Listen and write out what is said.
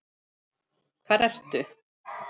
Hvar ertu?